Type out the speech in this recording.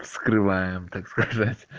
вскрываем так сказать